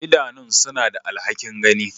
Idanun suna da alhakin gani.